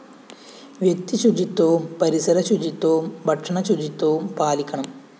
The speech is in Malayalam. വ്യക്തിശുചിത്വവും പരിസര ശുചിത്വവും ഭക്ഷണ ശുചിത്വവും പാലിക്കണം